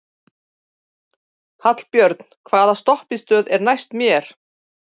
Hallbjörn, hvaða stoppistöð er næst mér?